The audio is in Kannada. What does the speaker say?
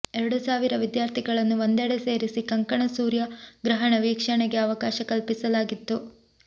ಎರಡು ಸಾವಿರ ವಿದ್ಯಾರ್ಥಿಗಳನ್ನು ಒಂದೆಡೆ ಸೇರಿಸಿ ಕಂಕಣ ಸೂರ್ಯಗ್ರಹಣ ವೀಕ್ಷಣೆಗೆ ಅವಕಾಶ ಕಲ್ಪಿಸಲಾಗಿತ್ತು